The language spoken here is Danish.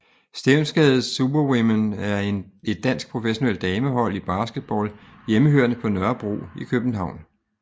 Stevnsgade Superwomen er et dansk professionelt damehold i basketball hjemmehørende på Nørrebro i København